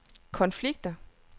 konflikter